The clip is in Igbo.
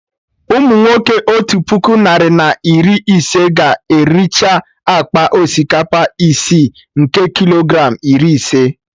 Umunwoke Otu puku narị na iri ise ga ericha akpa osikapa isi, nke Kilogram iri ise